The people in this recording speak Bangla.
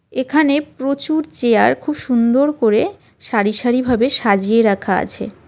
এখানে প্রচুর চেয়ার খুব সুন্দর করে সারিসারিভাবে সাজিয়ে রাখা আছে .